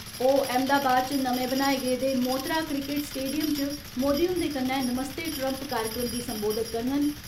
ओह् अहमदाबाद च नमें बनाएं गेदे मोतरा क्रिकेट स्टेडियम च मोदी हुन्दे कन्नै नमस्ते ट्रम्प कार्यक्रम गी सम्बोधित करङन।